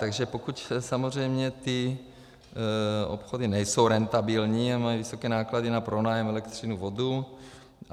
Takže pokud samozřejmě ty obchody nejsou rentabilní a mají vysoké náklady na pronájem, elektřinu, vodu.